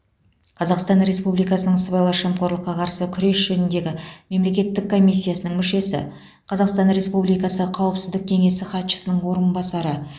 қазақстан республикасының сыбайлас жемқорлыққа қарсы күрес жөніндегі мемлекеттік комиссиясының мүшесі қазақстан республикасы қауіпсіздік кеңесі хатшысының орынбасары